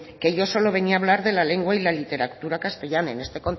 que yo solo venía a hablar de la lengua y la literatura castellana en este